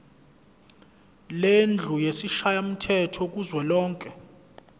lendlu yesishayamthetho kuzwelonke